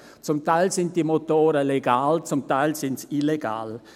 Zum Teil sind diese Motoren legal, zum Teil sind sie illegal.